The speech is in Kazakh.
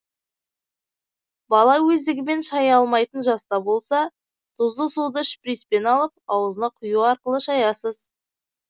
бала өздігімен шая алмайтын жаста болса тұзды суды шприцпен алып аузына құю арқылы шаясыз